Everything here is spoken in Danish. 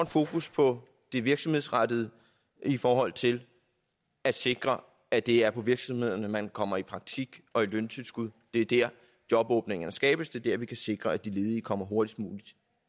fokus på det virksomhedsrettede i forhold til at sikre at det er på virksomhederne man kommer i praktik og i løntilskud det er der jobåbningerne skabes det er der vi kan sikre at de ledige kommer hurtigst muligt